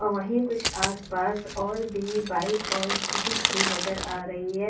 और वहीं कुछ आसपास और भी बाइक और स्कूटी खड़ी नजर आ रही है।